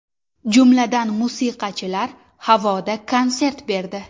Jumladan, musiqachilar havoda konsert berdi.